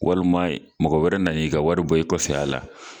Walima mɔgɔ wɛrɛ nan' i ka wari bɔ i kɔfɛ a la